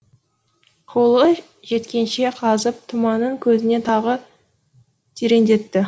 қолы жеткенше қазып тұманың көзіне тағы тереңдетті